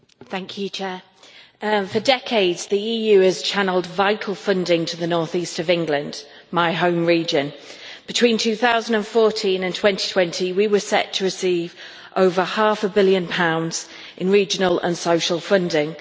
Madam President, for decades the EU has channelled vital funding to the northeast of England, my home region. Between 2014 and 2020 we were set to receive over half a billion pounds sterling in regional and social funding.